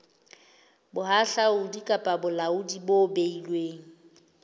bohahlaudi kapa bolaodi bo beilweng